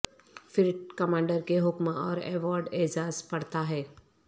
پھر کمانڈر کے حکم اور ایوارڈ اعزاز پڑھتا ہے